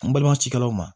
N balima cikɛlaw ma